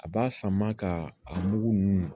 A b'a sama ka a mugu ninnu